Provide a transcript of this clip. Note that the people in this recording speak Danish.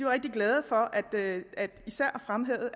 rigtig glade og især fremhævede